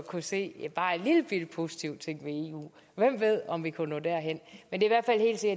kunne se bare en lillebitte positiv ting ved eu hvem ved om vi kunne nå derhen men det er